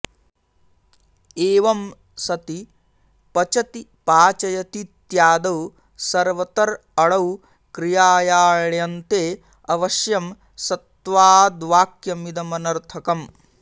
एवं सति पचति पाचयतीत्यादौ सर्वतर् अणौ क्रियायाण्यन्ते अवश्यं सत्त्वाद्वाक्यमिदमनर्थकम्